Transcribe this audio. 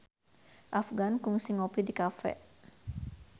Afgan kungsi ngopi di cafe